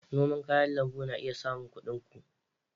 Noman kayan lambu na iya samun kuɗin ku.